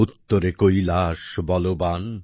উত্তরে কৈলাস বলবান